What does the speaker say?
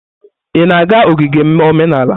Ị na-aga ogige omenala?